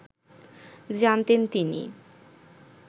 জানতেন তিনি